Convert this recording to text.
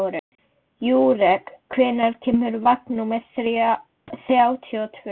Júrek, hvenær kemur vagn númer þrjátíu og tvö?